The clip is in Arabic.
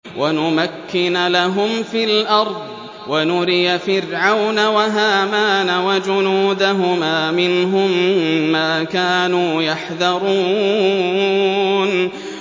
وَنُمَكِّنَ لَهُمْ فِي الْأَرْضِ وَنُرِيَ فِرْعَوْنَ وَهَامَانَ وَجُنُودَهُمَا مِنْهُم مَّا كَانُوا يَحْذَرُونَ